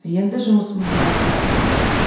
енді жұмысымызды бастайық